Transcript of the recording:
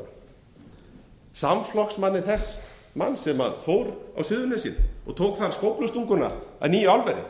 iðnaðarráðherra samflokksmanni þess manns sem fór á suðurnesin og tók þar skóflustunguna að nýju álveri